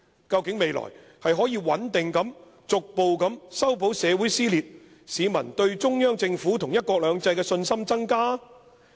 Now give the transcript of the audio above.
究竟未來是可以穩定地逐步修補社會撕裂，市民對中央政府和'一國兩制'的信心增加？